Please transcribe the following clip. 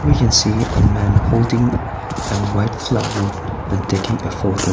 we can see a man holding a white flower and taking a photo.